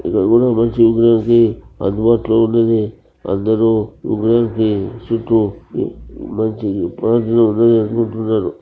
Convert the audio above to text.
ఇక్కడ కూడా మంచి మంచి అందుబాటులో ఉండేది. అందరు ఉపయోగించి చుట్టూ మంచి పనులు చేసుకొంటున్నారు.